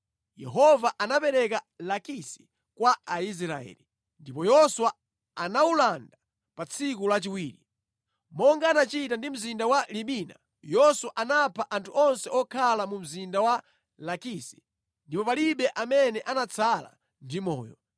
Yehova anapereka Lakisi kwa Israeli; ndipo Yoswa anawulanda pa tsiku lachiwiri. Monga anachita ndi mzinda wa Libina, Yoswa anapha anthu onse okhala mu mzinda wa Lakisi, ndipo palibe amene anatsala ndi moyo.